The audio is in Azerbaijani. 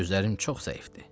Gözlərim çox zəifdir.